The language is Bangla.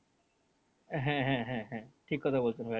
হ্যাঁ হ্যাঁ হ্যাঁ হ্যাঁ ঠিক কথা বলছেন ভাইয়া